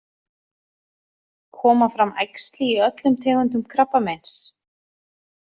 Koma fram æxli í öllum tegundum krabbameins?